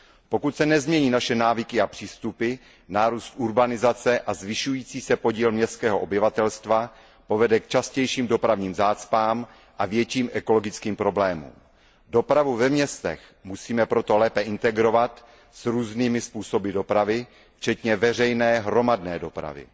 Pokud se nezmění naše návyky a přístupy, nárůst urbanizace a zvyšující se podíl městského obyvatelstva povede k častějším dopravním zácpám a větším ekologickým problémům. Dopravu ve městech musíme proto lépe integrovat s různými způsoby dopravy včetně veřejné hromadné dopravy.